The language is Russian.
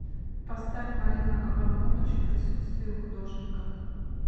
поставь марина абрамович в присутствии художника